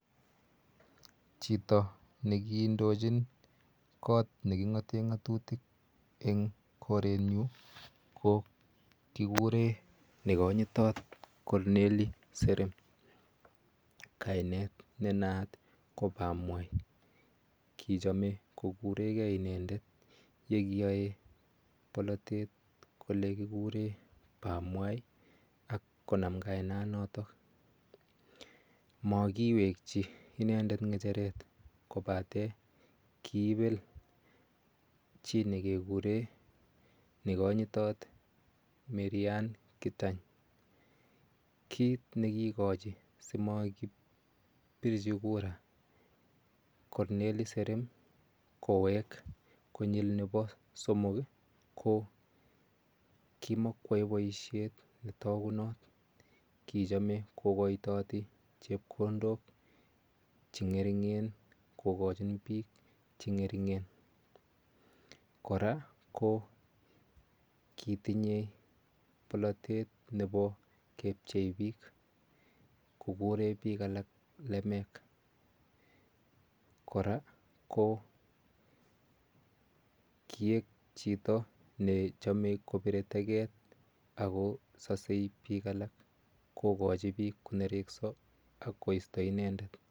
Chito ne kiindochin kot ne king'ate ng'atutik eng' korenyu ko kikure ne kanyitot Cornely Serem .Kainet ne naat ko pamwai, kichame kokure ge inendet ye kiyae polatet kole kikure pamwai ako nam kainanatak. Makiwekchi inendet ng'echeret kopate kiipel chi ne kekire Ne kanyitot Maryane Keitany. Kiit ne kiikochi si makipirchi kura Cornely Serem kowek konyil nepo somok i , ko ki makoyae poishet ne takunat. Ki chame kokaitaati chepkondok che ng'eringen kokachin piik che ng'ering'en. Kora ko kotinye polatet nepo kepchei piik, kokure piik alak lemek. Kora ko kiek chito ne chame kopire teket ak kosase piik alak, kokachi piil ko nereksa ak koista inendet.